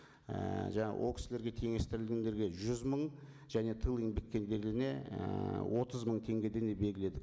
ііі жаңа ол кісілерге теңестірілгендерге жүз мың және тыл еңбеккерлеріне ііі отыз мың теңгеден деп белгіледік